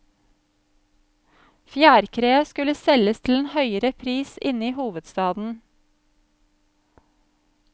Fjærkreet skulle selges til en høyere pris inne i hovedstaden.